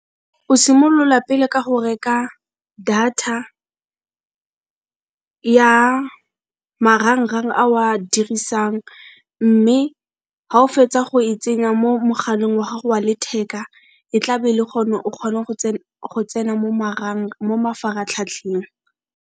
O simolola pele ka go reka data ya marang-rang ao a dirisang, mme ga o fetsa go e tsenya mo mogaleng wa gago wa letheka e tla be e le go ne o kgona go tsena mo mo mafaratlhatlheng.